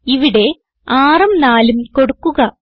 ഇവിടെ 6ഉം 4ഉം കൊടുക്കുക